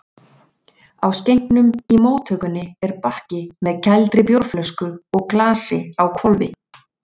Á skenknum í móttökunni er bakki með kældri bjórflösku og glasi á hvolfi.